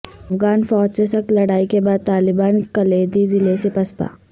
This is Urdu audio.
افغان فوج سے سخت لڑائی کے بعد طالبان کلیدی ضلعے سے پسپا